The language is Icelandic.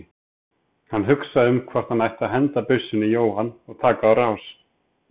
Hann hugsaði um hvort hann ætti að henda byssunni í Jóhann og taka á rás.